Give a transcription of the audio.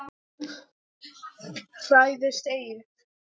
Hræðist eigi!